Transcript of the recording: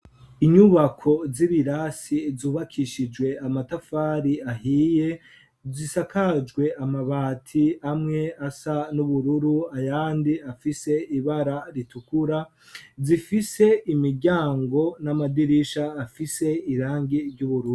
Inyubako z'ibirasi zubakishijwe amatafari ahiye zisakajwe amabati amwe asa n'ubururu ayandi afise ibara ritukura zifise imiryango n'amadirisha afise irangi ry'ubururu.